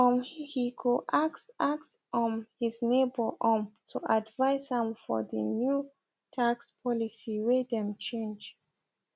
um he go ask ask um his neighbor um to advice am fr the new tax policy way them change